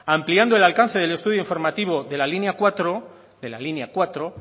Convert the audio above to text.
ampliando el alcance del estudio informativo de la línea cuatro